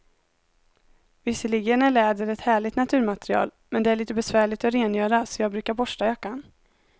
Visserligen är läder ett härligt naturmaterial, men det är lite besvärligt att rengöra, så jag brukar borsta jackan.